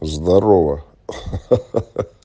здорово